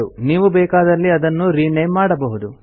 ನೀವು ಬೇಕಾದಲ್ಲಿ ಅದನ್ನು ರಿನೇಮ್ ಮಾಡಬಹುದು